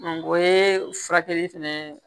o ye furakɛli fɛnɛ ye